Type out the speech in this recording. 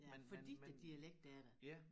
Fordi æ dialekt er der